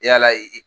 Yala ye